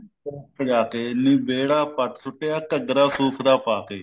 ਚੋਕ ਸਜਾਕੇ ਨੀ ਵਿਹੜਾ ਪੱਟ ਸੁੱਟਿਆ ਘੱਗਰਾ ਸੂਤ ਦਾ ਪਾਕੇ